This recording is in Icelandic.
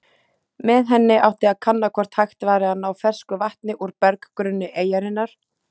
Með henni átti að kanna hvort hægt væri að ná fersku vatni úr berggrunni eyjarinnar.